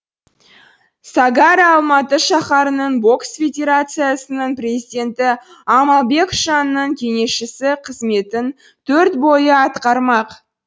сагарра алматы шаһарының бокс федерациясының президенті амалбек тшанның кеңесшісі қызметін төрт бойы атқармақ